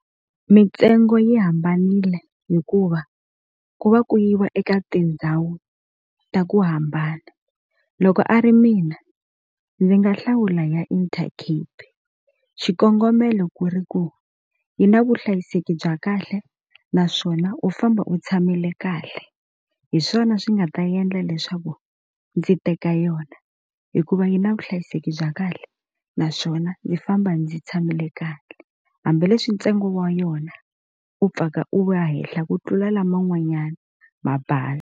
Mitsengo yi hambanile hikuva ku va ku yiva eka tindhawu ta ku hambana loko a ri mina ndzi nga hlawula ya Intercape xikongomelo ku ri ku yi na vuhlayiseki bya kahle naswona u famba u tshamile kahle hi swona swi nga ta endla leswaku ndzi teka yona hikuva yi na vuhlayiseki bya kahle naswona ndzi famba ndzi tshamile kahle hambileswi ntsengo wa yona u pfuka u ya henhla ku tlula laman'wanyani mabazi.